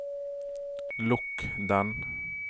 lukk den